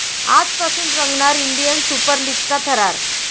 आजपासून रंगणार 'Indian Super लीग'चा थरार